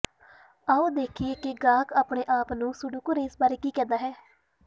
ਆਓ ਦੇਖੀਏ ਕਿ ਗਾਹਕ ਆਪਣੇ ਆਪ ਨੂੰ ਸੁਡੋਕੋਰੇਮ ਬਾਰੇ ਕੀ ਕਹਿੰਦੇ ਹਨ